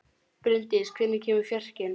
Bryndís, hvenær kemur fjarkinn?